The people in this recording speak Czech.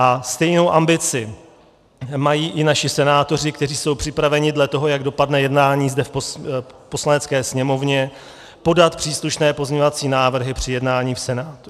A stejnou ambici mají i naši senátoři, kteří jsou připraveni dle toho, jak dopadne jednání zde v Poslanecké sněmovně, podat příslušné pozměňovací návrhy při jednání v Senátu.